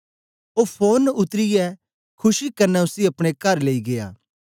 ओ फोरन उतरीयै खुशी कन्ने उसी अपने कर लेई गीया